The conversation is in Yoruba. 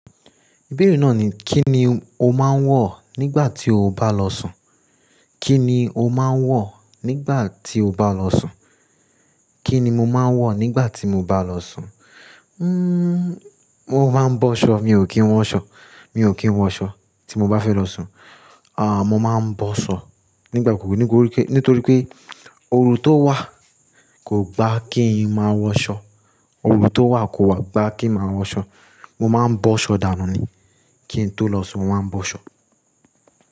Ìbéèrè náà ni, kí ni o máa ń wọ̀ nígbà tí o bá lọ sùn? Kí ni o máa ń wọ̀ nígbà tí o bá lọ sùn? Kí ni mo máa ń wọ̀ nígbà tí mo bá lọ sùn? Hmmm mo máa ń bọ́ ṣọ, mi ò kí ń wọ ṣọ. Mi ò kí ń wọ ṣọ tí mo bá fẹ́ lọ sùn. Mo máa ń bọ́ ṣọ nígbà kúkú, nítorí pé oru tó wà kò gba kí n máa wọ ṣọ. Oru tó wà kò wà gba kí n máa wọ ṣọ. Mo máa ń bọ́ ṣọ dànù ni. Kí n tó lọ sùn, mo máa ń bọ́ ṣọ.